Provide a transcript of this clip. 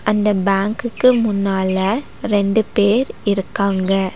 அந்த பேங்குக்கு முன்னால ரெண்டு பேர் இருக்காங்க.